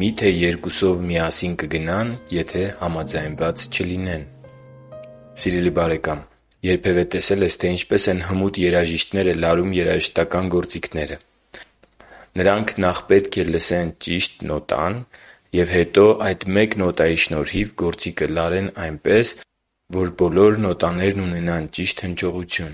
«Մի՞թե երկուսով միասին կգնան, եթե համաձայնված չլինեն» (ԱՄՈՎՍ 3.3): Սիրելի՛ բարեկամ, երբևէ տեսե՞լ ես, թե ինչպես են հմուտ երաժիշտները լարում երաժշտական գործիքները։ Նախ պետք է լսել նրանց ճիշտ նոտան և հետո այդ մեկ նոտայի շնորհիվ գործիքը լարել այնպես, որ բոլոր նոտաներն ունենան ճիշտ հնչողություն։